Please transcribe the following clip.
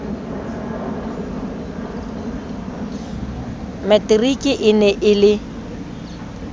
materiki e ne e le